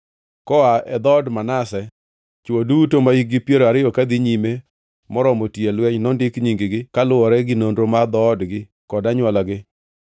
Koa e dhood Manase: Chwo duto mahikgi piero ariyo kadhi nyime moromo tiyo e lweny nondik nying-gi, kaluwore gi nonro mar dhoodgi kod anywolagi.